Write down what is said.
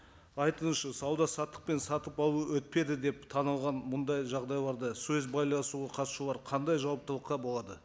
айтыңызшы сауда саттық пен сатып алу өтпеді деп танылған мұндай жағдайларда сөз байласуға қатысушылар қандай жауаптылыққа болады